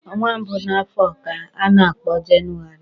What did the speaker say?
Ọnwa mbụ n'afọ ka a na-akpo Jenụwarị.